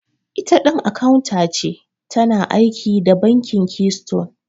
Itaɗin akawunta ce, tana aiki da bankin leystone